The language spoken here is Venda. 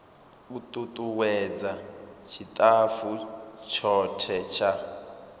u tutuwedza tshitafu tshothe tsha